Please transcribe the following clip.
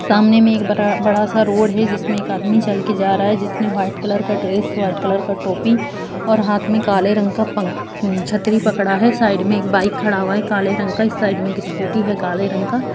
-- सामने में एक ब बड़ा-सा रोड है जिसमे एक आदमी चल के जा रहा है जिसने व्हाइट कलर का ड्रेस व्हाइट कलर का टोपी और हाथ में काले रंग का पंख- छतरी पकड़ी है साइड में एक बाइक खड़ा हुआ है काले रंग का इस साइड में एक स्कूटी है काले रंग का।